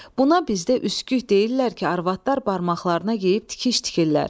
Buna bizdə üskük deyirlər ki, arvadlar barmaqlarına geyib tikiş tikirlər.